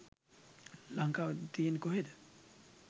ලංකාව තියෙන්නේ කොහෙද